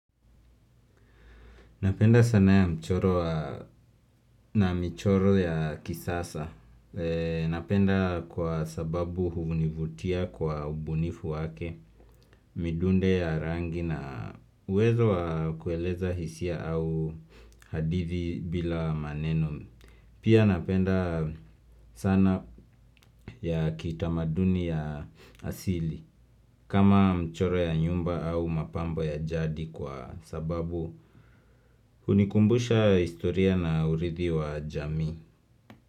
Napenda sanaa ya mchoro na mchoro ya kisasa. Napenda kwa sababu univutia kwa ubunifu wake, midunde ya rangi na uwezo wa kueleza hisia au hadithi bila maneno. Pia napenda sana ya kitamaduni ya asili kama mchoro ya nyumba au mapambo ya jadi kwa sababu unikumbusha historia na urithi wa jamii.